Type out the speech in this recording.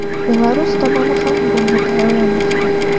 Belarus tomoni ham bunga tayyorlanmoqda.